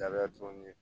Jabɛti kɔni ye